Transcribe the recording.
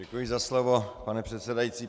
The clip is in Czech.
Děkuji za slovo, pane předsedající.